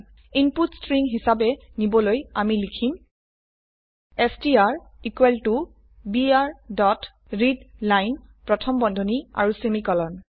ইনপুটক string হিসাবে নিবলৈ আমি লিখিম str equal to br dot readline প্ৰথম বন্ধনী আৰু সেমিকোলন